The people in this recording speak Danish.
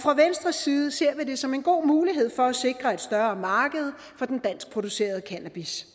fra venstres side ser vi det som en god mulighed for at sikre et større marked for den danskproducerede cannabis